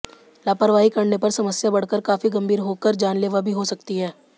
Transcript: लापरवाही करने पर समस्या बढ़कर काफी गंभीर होकर जानलेवा भी हो सकती है